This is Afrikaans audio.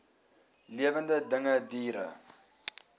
lewende dinge diere